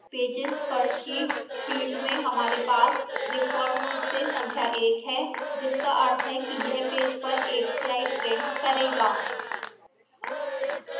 pages per sheet field में हमारे pages default रूप से संख्या 1 है जिसका अर्थ है कि यह pages पर एक स्लाइड प्रिंट करेगा